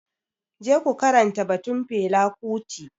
Je ku karanta batun Fela kuti.